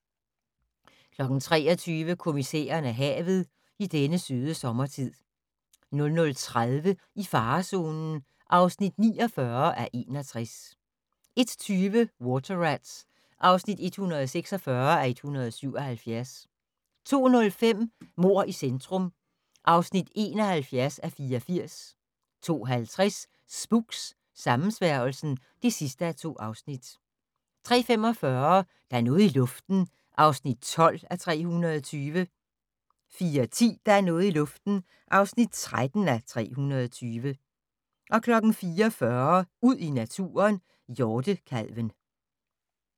23:00: Kommissæren og havet: I denne søde sommertid 00:30: I farezonen (49:61) 01:20: Water Rats (146:177) 02:05: Mord i centrum (71:84) 02:50: Spooks: Sammensværgelsen (2:2) 03:45: Der er noget i luften (12:320) 04:10: Der er noget i luften (13:320) 04:40: Ud i naturen: Hjortekalven